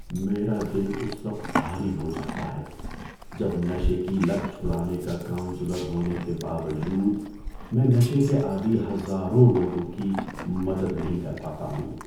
میرا دل اس وقت بھاری ہو جاتا ہے جب نشے کی لت چڑھانے کا کونسلر ہونے کے باوجود، میں نشے کے عادی ہزاروں لوگوں کی مدد نہیں کر پاتا ہوں۔